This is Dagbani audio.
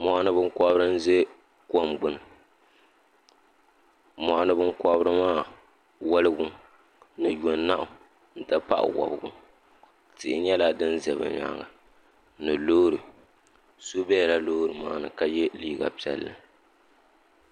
mɔɣini binkɔbiri ʒe kom gbunni mɔɣini binkɔbiri maa wɔligu ni yɔnahu nti pahi wɔbigu tihi nyɛla din za bɛ nyaaga ni loori so bela loori maa ni ka ye liiga piɛlli.